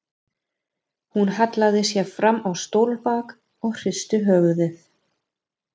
Hún hallaði sér fram á stólbak og hristi höfuðið.